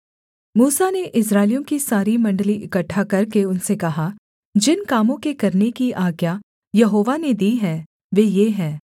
मूसा ने इस्राएलियों की सारी मण्डली इकट्ठा करके उनसे कहा जिन कामों के करने की आज्ञा यहोवा ने दी है वे ये हैं